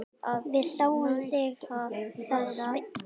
Við sáum það spil í gær.